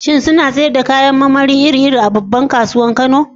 Shin suna sayar da kayan marmari iri-iri a babbar kasuwar Kano?